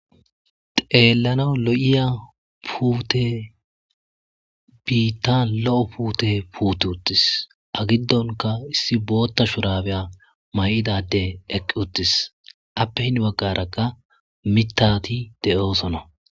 xeellana lo7iya puute biittan lo7o puute puute uttis agiddonka issi bootta shurabeya may7idade eqqi uttis appe hin baggarakka mitati de7oosona